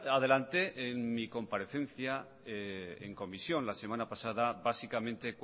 adelanté en mi comparecencia en comisión la semana pasada básicamente